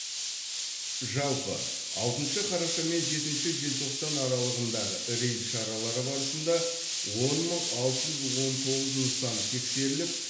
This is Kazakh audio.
жалпы алтыншы қараша мен жетінші желтоқтан аралығындағы рейд шаралары барысында он мың алты жүз он тоғыз нысан тексеріліп